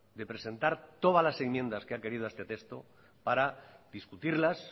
de presentar todas las enmiendas que ha querido a este texto para discutirlas